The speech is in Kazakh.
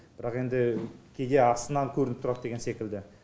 бірақ енді кейде астынан көрініп тұрады деген секілді